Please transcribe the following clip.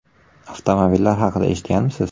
Avtomobillar haqida eshitganmisiz?